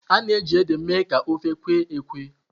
A na-eji ede eme ka ofe kwe-ekwe.